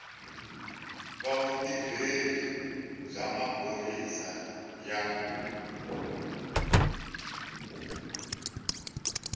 va vutirheli bya maphorisa ya